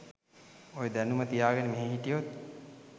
ඔය දැනුම තියාගෙන මෙහෙ හිටියොත්